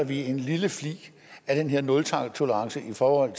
vi en lille flig af den her nultolerance i forhold